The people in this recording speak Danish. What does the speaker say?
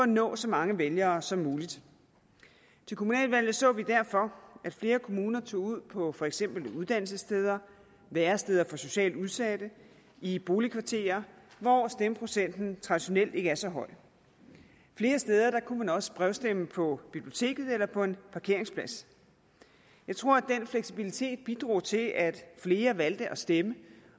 nå så mange vælgere som muligt til kommunalvalget så vi derfor at flere kommuner tog ud på for eksempel uddannelsessteder væresteder for socialt udsatte i boligkvarterer hvor stemmeprocenten traditionelt ikke er så høj flere steder kunne man også brevstemme på biblioteket eller på en parkeringsplads jeg tror at den fleksibilitet bidrog til at flere valgte at stemme